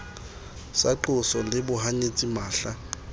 sa qoso le bohanyetsi mahla